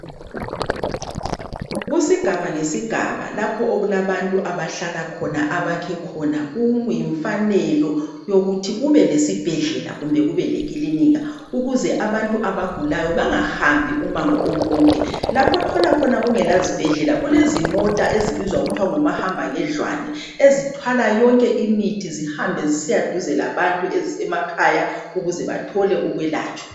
Kusigaba ngesigaba lapho okulabantu abahlala khona abakhe khona kuyimfanelo yokuthi kube lesibhedlela kumbe kumbe lekilinika ukuze abantu abagulayo bangahambi umango emide. Lapho othola kungelazibhedoela kulezimota ezibizwa kuthwa ngumahambangendlwane ezithwala yonke imithi zihambe zisiya eduze labantu emakhaya ukuze bathole ukwelatshwa.